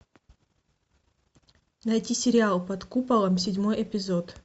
найти сериал под куполом седьмой эпизод